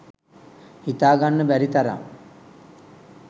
හිතාගන්න බැරි තරම්